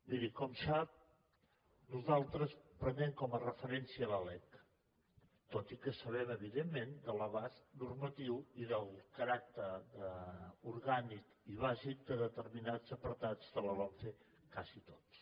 miri com sap nosaltres prenem com a referència la lec tot i que sabem evidentment de l’abast normatiu i del caràcter orgànic i bàsic de determinats apartats de la lomce quasi tots